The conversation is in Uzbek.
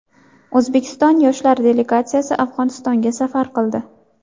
O‘zbekiston yoshlari delegatsiyasi Afg‘onistonga safar qildi.